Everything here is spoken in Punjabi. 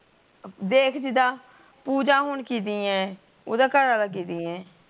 ਦੇਖ ਜਿੱਦ ਪੂਜਾ ਹੁਣ ਕੀਤੀ ਹੈ ਓਹਦਾ ਘਰ ਵਾਲਾਂ ਕੀਤੀ ਹੈ